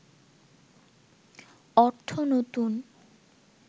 অর্থ নতুন